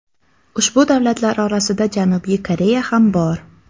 Ushbu davlatlar orasida Janubiy Koreya ham bor.